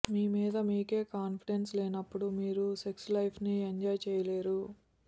మీ మీద మీకే కాంఫిడెన్స్ లేనప్పుడు మీరు సెక్స్ లైఫ్ ని ఎంజాయ్ చెయ్యలేరు